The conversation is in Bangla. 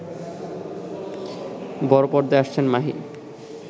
বড় পর্দায় আসছেন মাহি